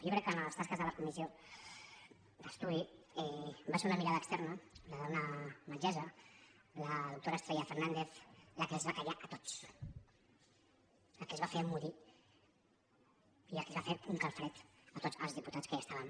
jo crec que en les tasques de la comissió d’estudi va ser una mirada externa la d’una metgessa la doctora estrella fernández la que els va fer callar a tots la que els va fer emmudir i la que els va fer un calfred a tots els diputats que hi eren